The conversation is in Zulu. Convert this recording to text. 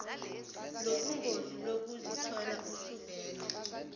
lobungozi lokuzithola usuvela